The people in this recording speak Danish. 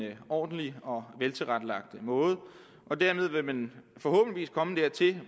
ordentlig og veltilrettelagt måde og dermed vil man forhåbentlig komme dertil at